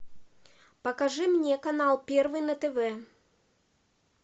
покажи мне канал первый на тв